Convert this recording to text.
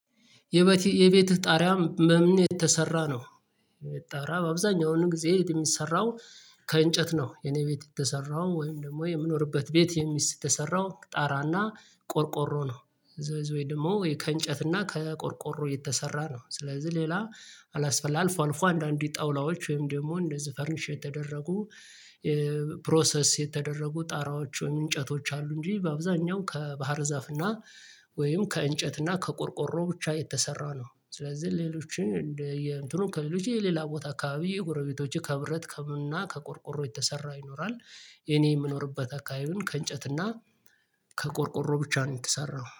የቤት የቤት ጣሪያ በምን የተሰራ ነው? ጣሪያ አብዛኛውን ጊዜ የሚሰራው ከእንጨት ነው። የኔ ቤት የተሰራው ወይም ደግሞ የምኖርበት ቤት የተሰራው ጣራና ቆርቆሮ ነው ደግሞ ከእንጨት እና ከቆርቆሮ የተሰራ ነው። ስለዚህ ሌላ አላስፈላጊ አልፎ አልፎ አንዳንዴ ጠውላዎች ወይም ደግሞ እንደዚህ ፈርኒሽ የተደረጉ ፕሮሰስ የተደረጉ ጣራዎች ወይም እንጨቶች አሉ እንጂ በአብዛኛው ከባህር ዛፍ እና ወይም ከእንጨት እና ከቆርቆሮ ብቻ የተሰራ ነው። ስለዚህ ሌሎች እንደ እንደእንትኑ ከሌሎች የሌላ ቦታ አካባቢ ጉረቤቶችህ ከብረት ከምና ከቆርቆሮ የተሰራ ይኖራል የኔ የምኖርበት አካባቢን ከእንጨት እና ከቆርቆሮ ብቻ ነው የተሰራው።